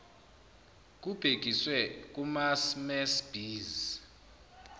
kubhekiswe kumasmmes bees